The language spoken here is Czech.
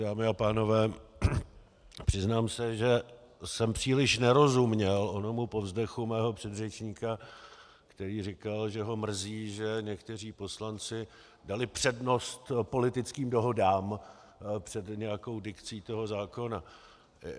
Dámy a pánové, přiznám se, že jsem příliš nerozuměl onomu povzdechu mého předřečníka, který říkal, že ho mrzí, že někteří poslanci dali přednost politickým dohodám před nějakou dikcí toho zákona.